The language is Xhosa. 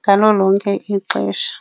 ngalo lonke ixesha.